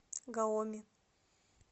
гаоми